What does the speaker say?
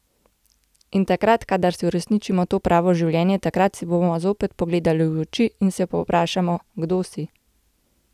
In takrat, kadar si uresničimo to pravo življenje, takrat si bomo zopet pogledali v oči in se povprašamo: 'Kdo si?